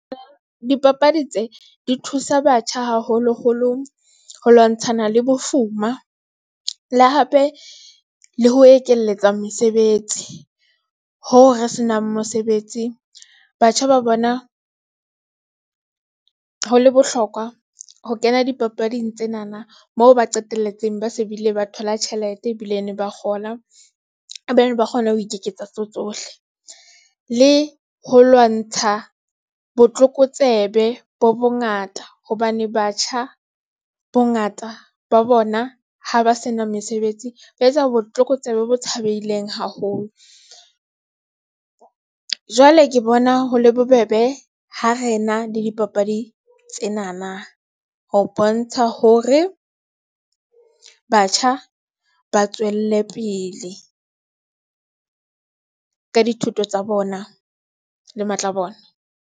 Dipapadi tsee di thusa batjha haholoholo ho lwantshana le bofuma, le hape le ho ekelletsa mesebetsi. Hoo re senang mosebetsi batjha ba bona. Ho le bohlokwa ho kena dipapading tsenana moo ba qetelletseng ba se bile ba thola tjhelete ebilene, ba ba kgona ho ikeketsa tseo tsohle le ho lwantsha botlokotsebe bo bongata, hobane batjha bongata ba bona ha ba sena mesebetsi, ba etsa botlokotsebe bo tshabeileng haholo. Jwale ke bona ho le bobebe ho re na le dipapadi tsenana. Ho bontsha hore batjha ba tswelle pele. ka dithuto tsa bona, le matla bona.